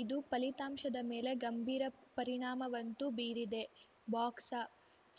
ಇದು ಫಲಿತಾಂಶದ ಮೇಲೆ ಗಂಭೀರ ಪರಿಣಾಮವಂತೂ ಬೀರಿದೆ ಬಾಕ್ಸ